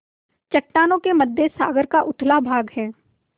चट्टानों के मध्य सागर का उथला भाग है